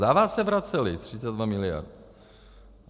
Za vás se vracely: 32 miliard.